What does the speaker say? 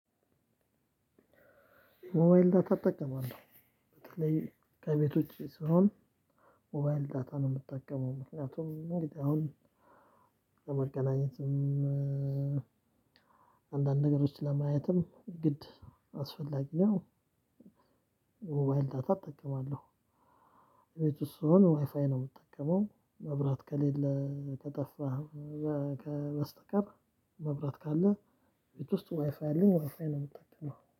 ሞባይል ዳታ እጠቀማለሁ በተለይ ከቤት ውጪ ስሆን ሞባይል ዳታ ነው የምጠቀመው። ምክንያቱም እንግዲህ አሁን ለመገናኘትም አንዳንድ ነገሮች ለማየትም ግድ አስፈላጊ ነው። ሞባይል ዳታ እጠቀማለሁ። እቤት ውስጥ ስሆን ዋይፋይ ነው የምጠቀመው። መብራት ከሌለ ከጠፋ በስተቀር መብራት ካለ ቤት ውስጥ ዋይፋይ አለን ዋይፋይ ነው የምጠቀመው